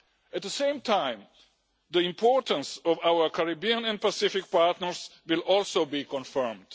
up. At the same time, the importance of our Caribbean and Pacific partners will also be confirmed.